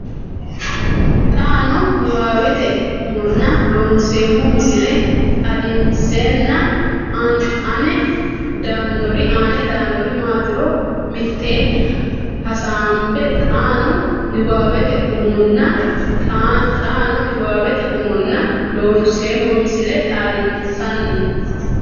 xaano niwaawete umonna Looseemmo misile xaadinsanni aane daannori maatiro mitteenni hasaambo xaano niwaawete umonna xaano niwaawete umonna Looseemmo misile xaadinsanni.